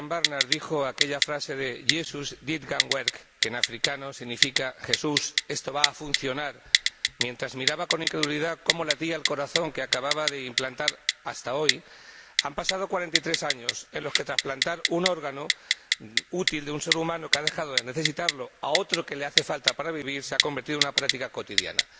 Christiaan Barnard dijo aquella frase de Jesus, dit kan werk —que en afrikáans significa Jesús, esto va a funcionar— mientras miraba con incredulidad cómo latía el corazón que acababa de implantar, hasta hoy, han pasado 43 años en los que trasplantar un órgano útil de un ser humano que ha dejado de necesitarlo a otro al que le hace falta para vivir se ha convertido en una práctica cotidiana.